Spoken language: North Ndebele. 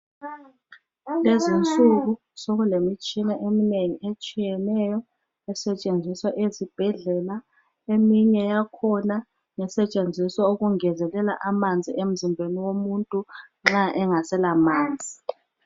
Lezinsuku sokulemitshina eminengi etshiyeneyo esetshenziswa ezibhedlela eminye yakhona ngesetshenziswa ukungezelela amanzi emzimbeni womuntu nxa engasela manzi.